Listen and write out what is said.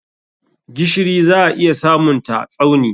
Gishiri za a iya samunta Tsauni.